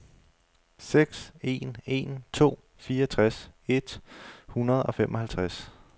seks en en to fireogtres et hundrede og femoghalvtreds